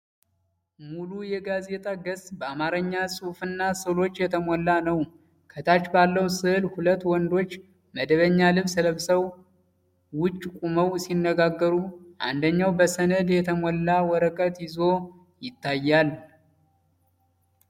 ሙሉ የጋዜጣ ገጽ በአማርኛ ጽሑፍና ሥዕሎች የተሞላ ነው። ከታች ባለው ሥዕል ሁለት ወንዶች መደበኛ ልብስ ለብሰው ውጪ ቆመው ሲነጋገሩ፣ አንደኛው በሰነድ የተሞላ ወረቀት ይዞ ይታያል።